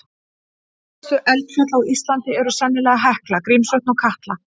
Virkustu eldfjöll á Íslandi eru sennilega Hekla, Grímsvötn og Katla.